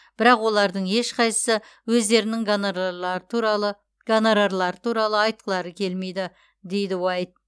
бірақ олардың ешқайсысы өздерінің гонорарлары туралы айтқылары келмейді дейді уайт